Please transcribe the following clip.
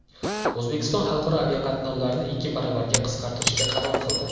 O‘zbekiston xalqaro aviaqatnovlarni ikki baravarga qisqartirishga qaror qildi.